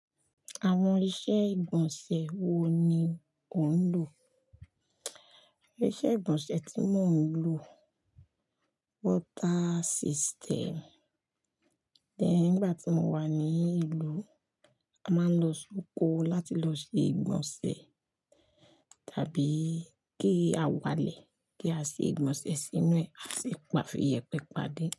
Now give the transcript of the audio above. Àwọn iṣẹ́ ìgbọ̀nsẹ̀ wo ni ò ń lò? Iṣẹ́ ìgbọ̀nsẹ̀ tí mò ń lò water system. Then ngbà tí mo wà ní ìlú, a máa ń lọ sóko láti lọ ṣe ìgbọ̀nsẹ̀ tàbí kí a wálẹ̀ kí a ṣe ìgbọ̀nsẹ̀ sínú ẹ̀, a sì pa fiyẹ̀pẹ́ pade.